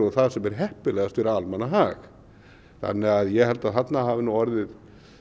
það sem er heppilegast fyrir almannahag þannig að ég held að þarna hafi nú orðið